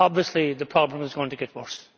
Obviously the problem is going to get worse.